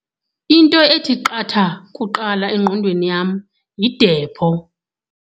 Into ethi qatha kuqala engqondweni yam yidepho.